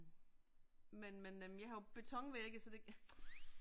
Men men øh jeg har jo beton vægge så det